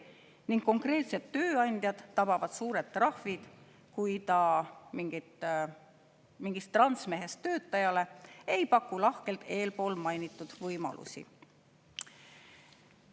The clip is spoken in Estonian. Ning konkreetset tööandjat tabavad suured trahvid, kui ta mingist transmehest töötajale ei paku lahkelt eespool mainitud võimalusi.